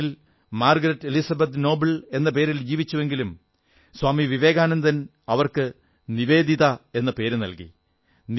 അയർലാന്റിൽ Margaret Elizabeth Noble എന്ന പേരിൽ ജീവിച്ചുവെങ്കിലും സ്വാമി വിവേകാനന്ദൻ അവർക്ക് നിവേദിത എന്നു പേരു നല്കി